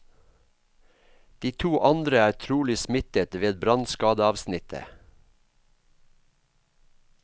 De to andre er trolig smittet ved brannskadeavsnittet.